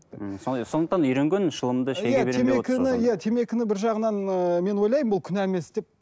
м сондай сондықтан үйренген шылымды темекіні бір жағынан ыыы мен ойлаймын бұл күнә емес деп